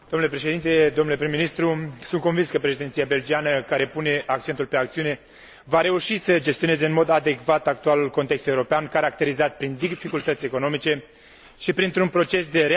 Sunt convins că președinția belgiană, care pune accentul pe acțiune, va reuși să gestioneze în mod adecvat actualul context european caracterizat prin dificultăți economice și printr un proces de reașezare instituțională.